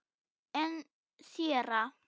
En séra